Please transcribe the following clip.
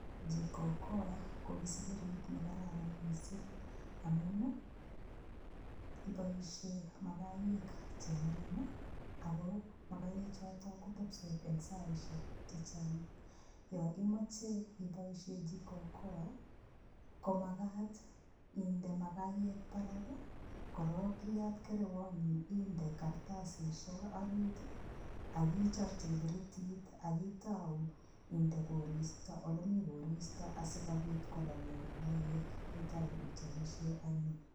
Jiko okoa ko kisikirit nekararan mising' amun iboishe makayek cheng'ering' ako makayechoto kotepisot eng' saishek chechang' yo imoche iboishe jiko okoa komakat inde makayek barak korok iyat kerewonyi inde karatasishek orit akichirchi kipiritit akotoi inde olimi koristo asikobit kololio makayek itou ichopishe anyun